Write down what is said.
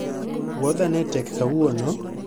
Wuodha ne tek kawuono